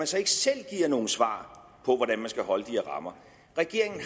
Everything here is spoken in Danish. så ikke selv noget svar på hvordan man skal holde de her rammer regeringen